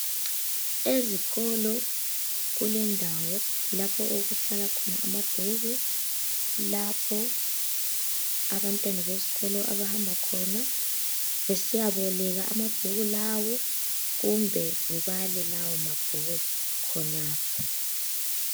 Ezikolo kulendawo lapho okuhlala khona amabhuku , lapho abantwana besikolo abahamba khona besiyaboleka amabhuku lawo kumbe bebale lawo mabhuku khonapho.